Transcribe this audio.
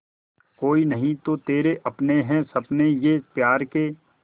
कोई नहीं तो तेरे अपने हैं सपने ये प्यार के